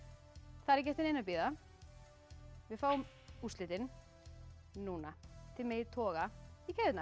það er ekki eftir neinu að bíða við fáum úrslitin núna þið megið toga í keðjurnar